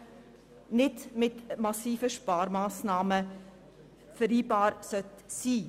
Das heisst, die Revision sollte keine massiven Sparmassnahmen mit sich bringen.